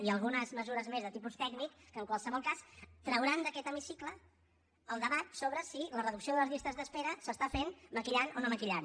i algunes mesures més de tipus tècnic que en qualsevol cas trauran d’aquest hemicicle el debat sobre si la reducció de les llistes d’espera s’està fent maquillant o no maquillant